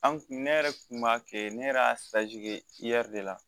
An kun ne yɛrɛ tun b'a kɛ ne yɛrɛ y'a kɛ de la